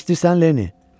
Eşidirsən, Leni?